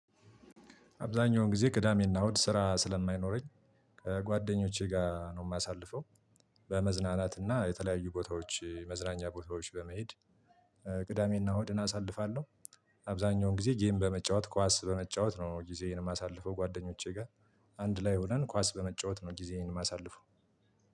አብዛኛውን ጊዜ ቅዳሜና እሁድ ስራ ስለማይኖረኝ ጓደኞቼ ጋር ነው የማሳልፈው። በመዝናናትና የተለያዩ ቦታዎች መዝናኛ ቦታዎች በመሄድ ቅዳሜና እሁድን አሳልፋለሁ። አብዛኛውን ጊዜ ጌም በመጫወት ኳስ በመጫወት ነው ጊዜዬን የማሳልፈው ጓደኞቼ ጋር። አንድ ላይ ሆነን ኳስ በመጫወት ነው ጊዜን የማሳልፈው።